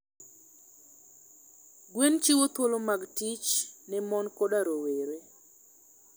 Gwen chiwo thuolo mag tich ne mon koda rowere.